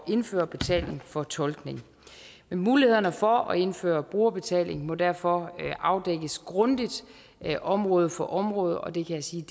indføre betaling for tolkning mulighederne for at indføre brugerbetaling må derfor afdækkes grundigt område for område og det kan jeg sige